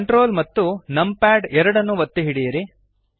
Ctrl ಮತ್ತು numpad 2 ಒತ್ತಿ ಹಿಡಿಯಿರಿ